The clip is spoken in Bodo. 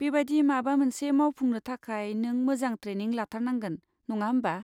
बेबादि माबा मोनसे मावफुंनो थाखाय नों मोजां ट्रेनिं लाथारनांगोन, नङा होमबा?